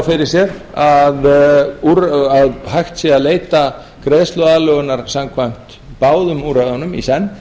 að mál fyrir sér að hægt sé að leita greiðsluaðlögunar samkvæmt báðum úrræðunum í senn